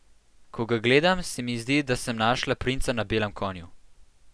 Ko ga gledam, se mi zdi, da sem našla princa na belem konju.